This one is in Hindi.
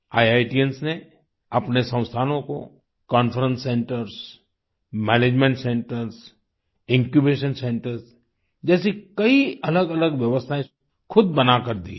इतियांस ने अपने संस्थानों को conference centres management centres incubation centres जैसे कई अलगअलग व्यवस्थाएं खुद बना कर दी हैं